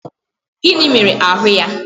Gịnị mere ahụ́ ya?